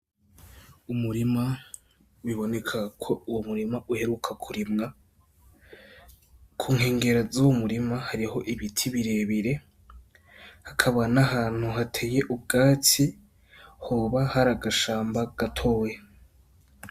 Umurima biboneka ko uwo murima uheruka kurimwa, kunkengera zuwo murima hariho ibiti bire bire hakaba n' ahantu hateye ubwatsi hoba hari agashamba gatoya.